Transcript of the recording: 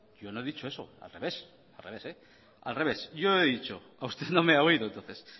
yo no he dicho eso al revés usted no me ha oído entonces